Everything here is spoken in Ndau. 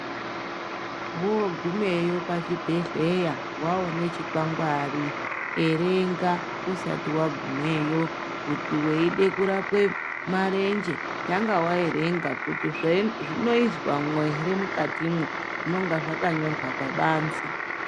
Vogumeyo pachibhedhleya waone chikwangwari erenga usati wagumeyo kuti weide kurape marenje kuti zvei zvinoizwa ere mukatimwo zvinenge zvakanyorwa pabanze.